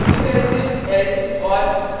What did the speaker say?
ifelsifelse और